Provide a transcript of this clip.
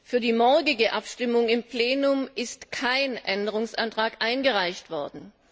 Für die morgige Abstimmung im Plenum ist kein Änderungsantrag eingereicht worden.